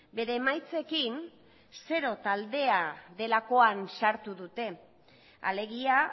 bere emaitzekin zero taldea delakoan sartu dute alegia